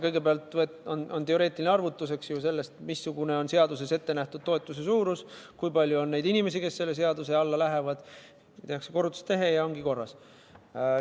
Kõigepealt on teoreetiline arvutus: vaadatakse, missugune on seaduses ette nähtud toetuse suurus ja kui palju on neid inimesi, kes selle seaduse alla lähevad, seejärel tehakse korrutustehe ja ongi korras.